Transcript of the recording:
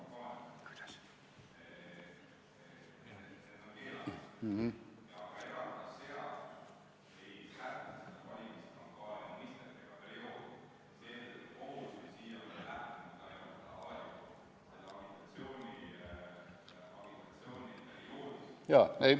Jaa.